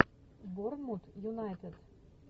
борнмут юнайтед